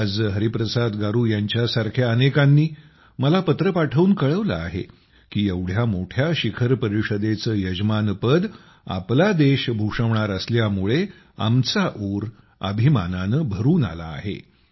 आज हरिप्रसाद गारू यांच्यासारख्या अनेकांनी मला पत्र पाठवून कळविले आहे की एवढ्या मोठ्या शिखर परिषदेचे यजमानपद आपला देश भूषवणार असल्यामुळे आमचे उर अभिमानाने भरून आले आहे